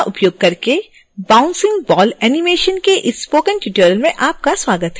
synfig का उपयोग करके bouncing ball animation के इस स्पोकन ट्यूटोरियल में आपका स्वागत है